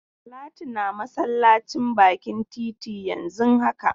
Talatu na masallacin bakin titi yanzun haka.